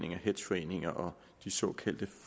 hedgeforeninger og de såkaldte